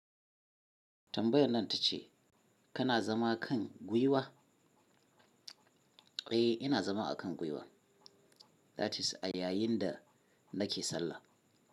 Tambayar nan ta ce kana zama kan gwuiwa? Eh, ina zama akan gwiwa, that is a yayin da nake sallah.